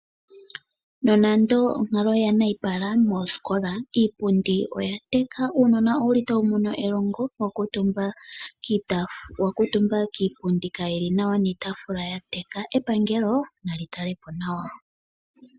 Nonando onkalo oya nayipala moosikola, iipundi oya teka, uunona owuli tawu mono elongo wakuutumba kiipundi kaayili nawa niitaafula ya teka. Epangelo nali tale po nawa.